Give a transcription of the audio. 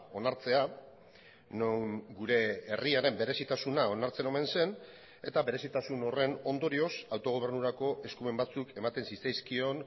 onartzea non gure herriaren berezitasuna onartzen omen zen eta berezitasun horren ondorioz autogobernurako eskumen batzuk ematen zitzaizkion